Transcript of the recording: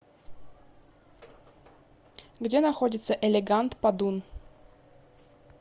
где находится элегант падун